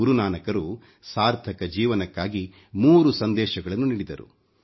ಗುರು ನಾನಕರು ಸಾರ್ಥಕ ಜೀವನಕ್ಕಾಗಿ 3 ಸಂದೇಶಗಳನ್ನು ನೀಡಿದರು